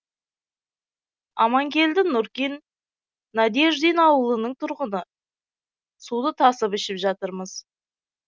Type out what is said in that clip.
аманкелді нуркин надеждин ауылының тұрғыны суды тасып ішіп жатырмыз